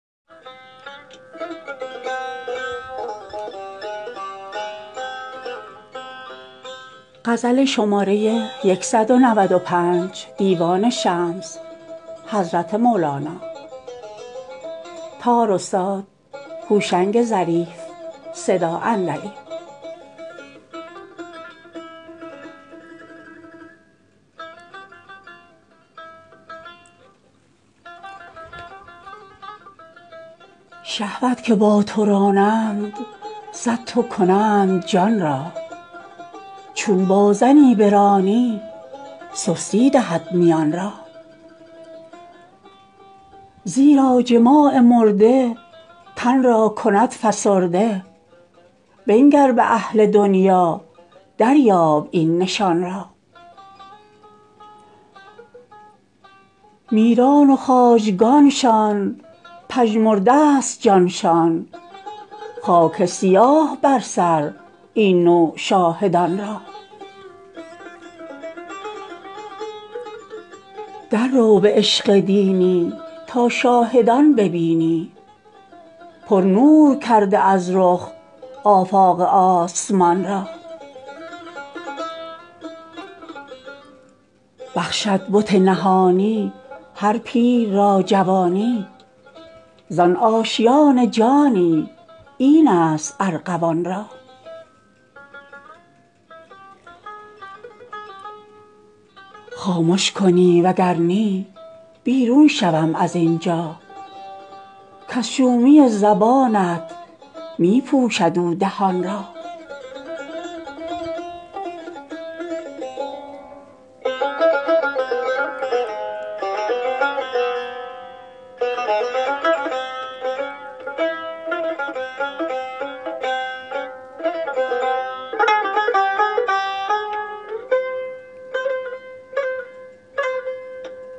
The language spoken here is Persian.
شهوت که با تو رانند صدتو کنند جان را چون با زنی برانی سستی دهد میان را زیرا جماع مرده تن را کند فسرده بنگر به اهل دنیا دریاب این نشان را میران و خواجگانشان پژمرده است جانشان خاک سیاه بر سر این نوع شاهدان را دررو به عشق دینی تا شاهدان ببینی پرنور کرده از رخ آفاق آسمان را بخشد بت نهانی هر پیر را جوانی زان آشیان جانی اینست ارغوان را خامش کنی وگر نی بیرون شوم از این جا کز شومی زبانت می پوشد او دهان را